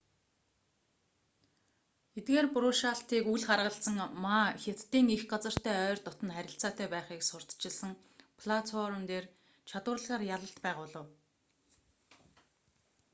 эдгээр буруушаалтыг үл харгалзан ма хятадын эх газартай ойр дотно харилцаатай байхыг сурталчилсан платформ дээр чадварлагаар ялалт байгуулав